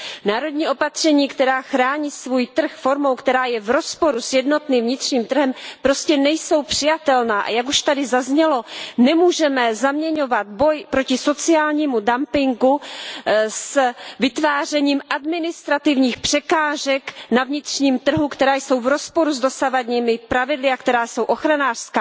Národní opatření, která chrání svůj trh formou, která je v rozporu s jednotným vnitřním trhem, prostě nejsou přijatelná, a jak už tady zaznělo, nemůžeme zaměňovat boj proti sociálnímu dumpingu s vytvářením administrativních překážek na vnitřním trhu, které jsou v rozporu s dosavadními pravidly a které jsou ochranářské.